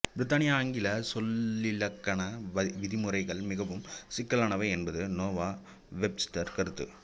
பிரித்தானிய ஆங்கில சொல்லிலக்கண விதி முறைகள் மிகவும் சிக்கலானவை என்பது நோவா வெப்ஸ்டர் கருத்து